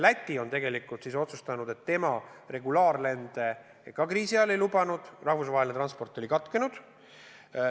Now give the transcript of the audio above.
Läti tegelikult otsustas, et tema regulaarlende kriisi ajal ei lubanud, rahvusvaheline transport oli katkenud.